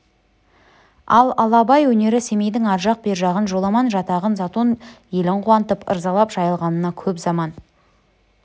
ал абай өнері семейдің ар жақ бер жағын жоламан жатағын затон елін қуантып ырзалап жайылғанына көп заман